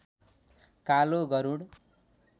कालो गरुड